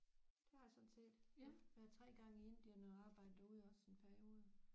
Det har jeg sådan set været 3 gange i Indien og arbejdet derude også i en periode